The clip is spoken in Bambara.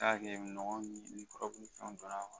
Taa kɛ nɔgɔ ni kɔrɔbɛn ni fɛnw dɔnna